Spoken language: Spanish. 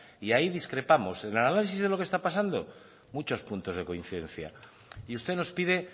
y ahí discrepamos sobre el análisis de lo que está pasando muchos puntos de coincidencia y usted nos pide